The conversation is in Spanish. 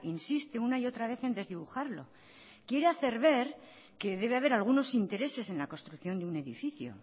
insiste una y otra vez en desdibujarlo quiere hacer ver que debe haber algunos intereses en la construcción de un edificio